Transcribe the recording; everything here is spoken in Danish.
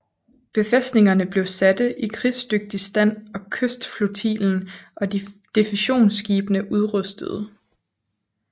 Befæstningerne blev satte i krigsdygtig stand og kystflotillen og defensionsskibene udrustede